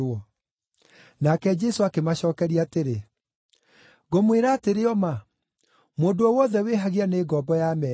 Nake Jesũ akĩmacookeria atĩrĩ, “Ngũmwĩra atĩrĩ o ma, mũndũ o wothe wĩhagia nĩ ngombo ya mehia.